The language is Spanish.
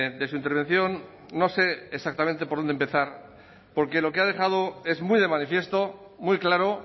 de su intervención no sé exactamente por dónde empezar porque lo que ha dejado es muy de manifiesto muy claro